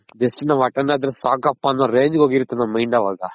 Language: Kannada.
just ನಾವ್ attend ಆದ್ರೆ ಸಾಕಪ್ಪ ಅನ್ನೋ range ಗೆ ಹೋಗಿರ್ತ್ ನಮ್ Mind ಅವಾಗ